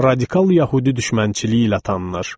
Radikal yəhudi düşmənçiliyi ilə tanınır.